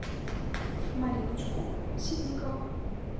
мариночку ситникову